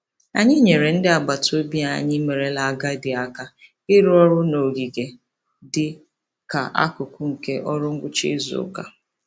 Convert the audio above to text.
Anyị nyeere ndị agbataobi anyị merela agadi aka ịrụ ọrụ n'ogige dị ka akụkụ nke ọrụ ngwụcha izuụka.